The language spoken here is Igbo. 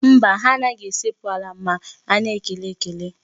Mba, ha anaghị esekpu ala ma a na-ekele ekele.